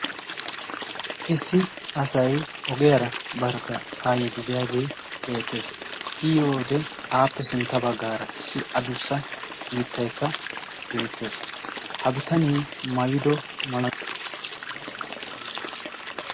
issi asay ogiyaara barkka haa yiidideyaagee beettees i yiyoode aappe sintta baggaara issi adussa mittaikka beettees ha bitanie mayido maayuwa meray ayibe